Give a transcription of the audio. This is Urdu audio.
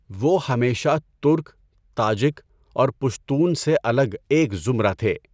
وہ ہمیشہ ترک، تاجک اور پشتون سے الگ ایک زمرہ تھے۔